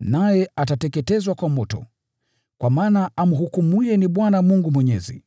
Naye atateketezwa kwa moto, kwa maana Bwana Mungu amhukumuye ana nguvu.